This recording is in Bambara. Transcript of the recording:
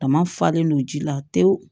Dama falen don ji la tewu